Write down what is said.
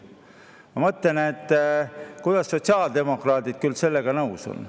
Ma mõtlen, et kuidas sotsiaaldemokraadid küll sellega nõus on.